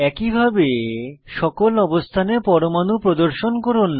একইভাবে সকল অবস্থানে পরমাণু প্রদর্শন করুন